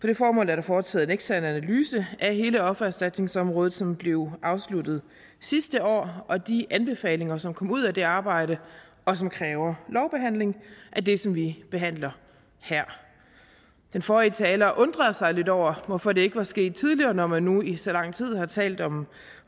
det formål er der foretaget en ekstern analyse af hele offererstatningsområdet som blev afsluttet sidste år og de anbefalinger som kom ud af det arbejde og som kræver lovbehandling er det som vi behandler her den forrige taler undrede sig lidt over hvorfor det ikke var sket tidligere når man nu i så lang tid har talt om